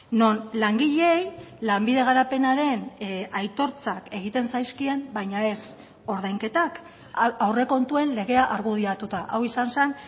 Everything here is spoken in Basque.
non langileei lanbide garapenaren aitortzak egiten zaizkien baina ez ordainketak aurrekontuen legea argudiatuta hau izan zen